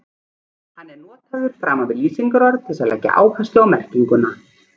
Hann er notaður framan við lýsingarorð til þess að leggja áherslu á merkinguna.